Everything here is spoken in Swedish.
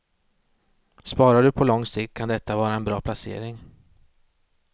Sparar du på lång sikt kan detta vara en bra placering.